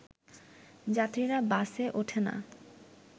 যাত্রীরা বাসে ওঠে না